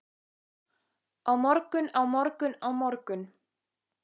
Á morgun, á morgun, á morgun.